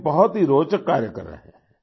वे बहुत ही रोचक कार्य कर रहे हैं